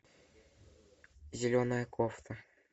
зеленая кофта